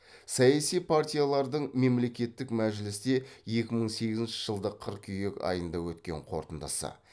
саяси партиялардың мемлекеттік мәжілісте екі мың сегізінші жылдың қыркүйек айында өткен қорытындысы